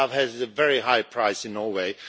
Love has a very high price in Norway.